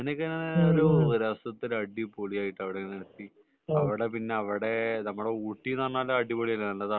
അങ്ങനെയൊക്കെ ഒരു രസത്തില് അടിപൊളി ആയിട്ടു അവിടെ അങ്ങനെ എത്തി. അവിടെ പിന്നെ നമ്മളെ ഓട്-=ഊട്ടി എന്ന് പറഞ്ഞാൽ നല്ല തണുപ്പല്ലേ